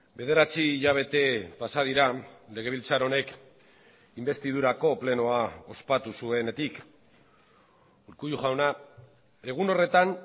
bederatzi hilabete pasa dira legebiltzar honek inbestidurako plenoa ospatu zuenetik urkullu jauna egun horretan